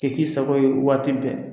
Tɛ k'i sago ye waati bɛɛ